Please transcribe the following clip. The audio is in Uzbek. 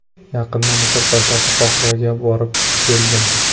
Yaqinda Misr poytaxti Qohiraga borib, keldim.